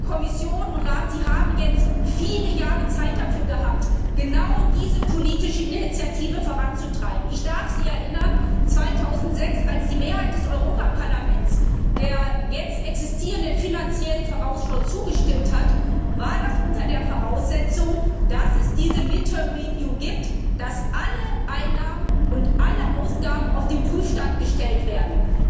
Kommission und Rat, Sie haben nun viele Jahre Zeit dafür gehabt, genau diese politische Initiative voranzutreiben. Ich darf Sie erinnern, 2006, als die Mehrheit des Europäischen Parlaments der jetzt existierenden Finanziellen Vorausschau zugestimmt hat, war das unter der Voraussetzung, dass es diese Halbzeitüberprüfung gibt, dass alle Einnahmen und alle Ausgaben auf den Prüfstand gestellt werden.